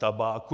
Tabáku.